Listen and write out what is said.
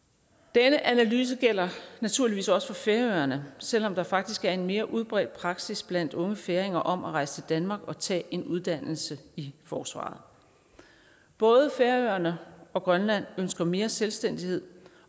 denne analyse gælder naturligvis også for færøerne selv om der faktisk er en mere udbredt praksis blandt unge færinger om at rejse til danmark og tage en uddannelse i forsvaret både færøerne og grønland ønsker mere selvstændighed